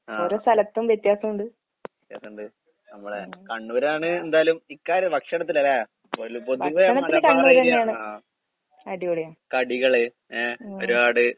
ആഹ് okay. വ്യത്യാസോണ്ട് നമ്മടെ കണ്ണൂരാണ് എന്തായാലും ഇക്കാര് ഭക്ഷണത്തിലല്ലേ? പൊല് പൊതുവെ മലബാർ ഏരിയ ആഹ്. കടികള് ഏ, ഒരുപാട്